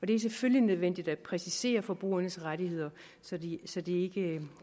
det er selvfølgelig nødvendigt at præcisere forbrugernes rettigheder så de så de ikke